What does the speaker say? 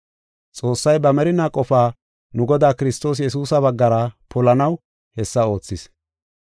Xoossay ba merinaa qofaa nu Godaa Kiristoos Yesuusa baggara polanaw hessa oothis.